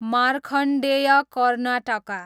Markandeya Karnataka